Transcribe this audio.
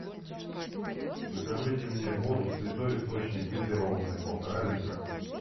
закажите мне воду святой источник газированная полтора литра